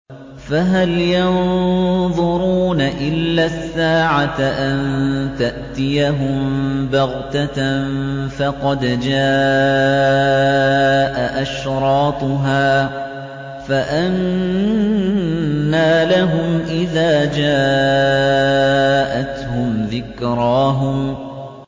فَهَلْ يَنظُرُونَ إِلَّا السَّاعَةَ أَن تَأْتِيَهُم بَغْتَةً ۖ فَقَدْ جَاءَ أَشْرَاطُهَا ۚ فَأَنَّىٰ لَهُمْ إِذَا جَاءَتْهُمْ ذِكْرَاهُمْ